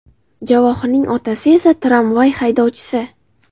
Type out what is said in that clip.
Javohirning otasi esa tramvay haydovchisi.